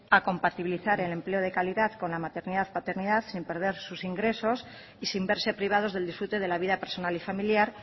a compatibilizar el empleo de calidad con la maternidad paternidad sin perder sus ingresos y sin verse privados del disfrute de la vida personal y familiar